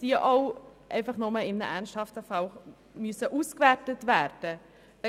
Die Aufzeichnungen sollen nur in ernsthaften Fällen ausgewertet werden müssen.